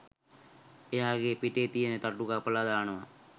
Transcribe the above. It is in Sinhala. එයාගේ පිටේ තියෙන තටු කපලා දානවා